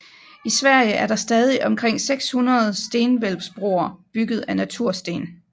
I Sverige er der stadig omkring 600 stenhvælvsbroer bygget af natursten